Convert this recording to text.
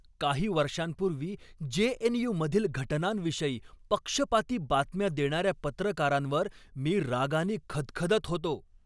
काही वर्षांपूर्वी J. N. U. मधील घटनांविषयी पक्षपाती बातम्या देणाऱ्या पत्रकारांवर मी रागानी खदखदत होतो.